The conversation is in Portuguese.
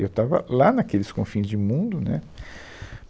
Eu estava lá naqueles confins de mundo, né?